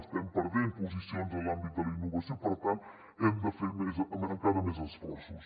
estem perdent posicions en l’àmbit de la innovació per tant hem de fer més encara més esforços